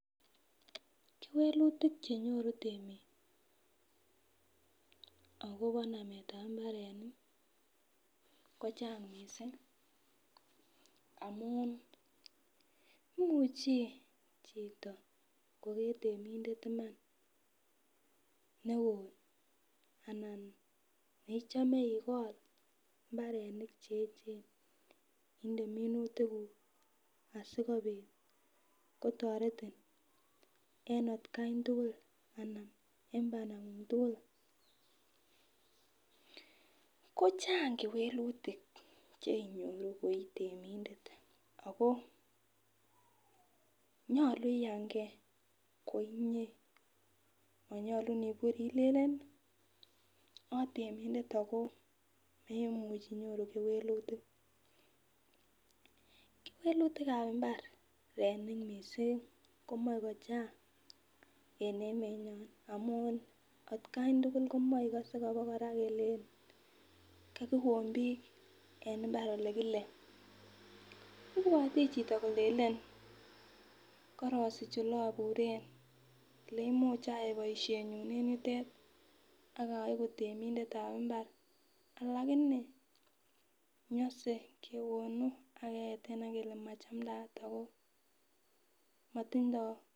kewelutik chenyoru temiik agobo nameet ab mbarenik kochang mising amuun imuche chito kogeer temindet imaan neoo anan neichome igool imbarenik cheechen inde minutik guuk asigobiit kotoretin en atkaan tugul anan en bandanguung tugul, kochang kewelutik cheinyoru koii temindet ago nyolu iyangee koinyee monyolu niburii ilelen otemindet ago memuch inyoru kewelutik, kewelutik ab imbaar mising komoe kochang en emenyoon amuun atkaan tugul komoigose abakora kele kagiwoon biik en imbaar ele kile, ibwote chito kolelen korosich oleobureen oleimuch ayaai boishenyun en yuteet ak oegu temindet ab imbaar, lakini nyose kewoonu ak keyeten kele machaandaat ago motindoo,,